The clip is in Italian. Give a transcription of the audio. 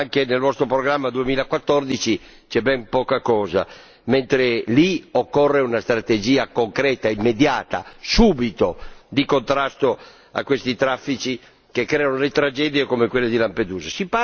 Anche nel nostro programma 2014 c'è ben poca cosa, mentre lì occorre una strategia concreta e immediata subito! di contrasto a questi traffici che creano tragedie come quella di Lampedusa.